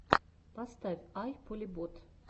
поставь ай полебот